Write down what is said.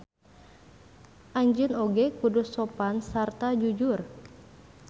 Anjeun oge kudu sopan sarta jujur.